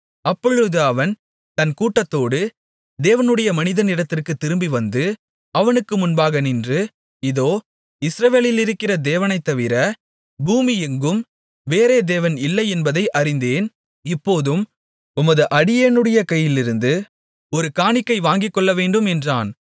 அப்பொழுது அவன் தன் கூட்டத்தோடு தேவனுடைய மனிதனிடத்திற்குத் திரும்பிவந்து அவனுக்கு முன்பாக நின்று இதோ இஸ்ரவேலிலிருக்கிற தேவனைத்தவிர பூமியெங்கும் வேறே தேவன் இல்லை என்பதை அறிந்தேன் இப்போதும் உமது அடியேனுடைய கையிலிருந்து ஒரு காணிக்கை வாங்கிக்கொள்ளவேண்டும் என்றான்